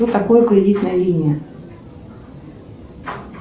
что такое кредитная линия